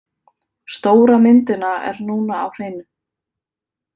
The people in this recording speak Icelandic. Stóra myndina er núna á hreinu.